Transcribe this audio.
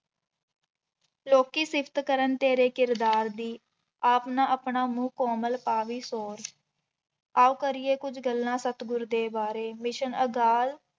ਲੋਕੀ ਸਿਫ਼ਤ ਕਰਨ ਤੇਰੇ ਕਿਰਦਾਰ ਦੀ, ਆਪ ਨਾ ਆਪਣਾ ਮੂੰਹ ਕੋਮਲ ਪਾਵੀ ਸ਼ੋਰ, ਆਓ ਕਰੀਏ ਕੁੱਝ ਗੱਲਾਂ ਸਤਿਗੁਰੁ ਦੇ ਬਾਰੇ ਮਿਸ਼ਨ ਅਗਾਲ